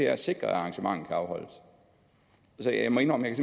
at sikre at arrangementet kan afholdes så jeg må indrømme at